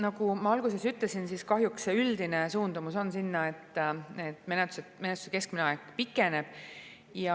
Nagu ma alguses ütlesin, kahjuks see üldine suundumus on sinna, et menetluse keskmine aeg pikeneb.